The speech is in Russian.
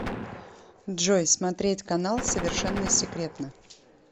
джой смотреть канал совершенно секретно